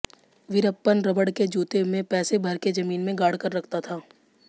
वीरप्पन रबड़ के जूते में पैसे भर के जमीन में गाड़कर रखता था